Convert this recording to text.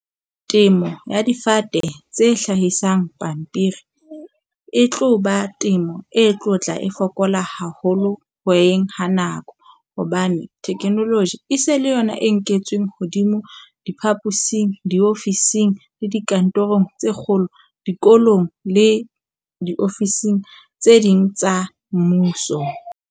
Temo ya difate tse hlahisang pampiri e tloba temo e tlotla e fokola haholo hoyeng ha nako. Hobane technology e se le yona e nketsweng hodimo diphaposing, diofising le dikantorong tse kgolo, dikolong le diofising tse ding tsa mmuso.